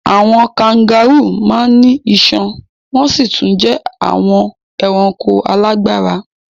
Àwọn kangárù máa ń ní iṣan wọn sì tún jẹ́ àwọn ẹranko alágbára.